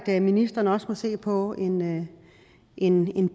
at ministeren også må se på en en